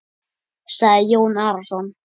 sagði Jón Arason.